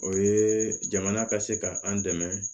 O ye jamana ka se ka an dɛmɛ